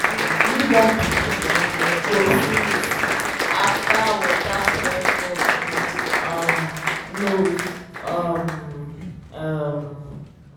new born pikin go sneeze after water clear from im um nose um